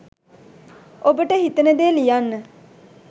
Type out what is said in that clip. ඔබට හිතෙන දේ ලියන්න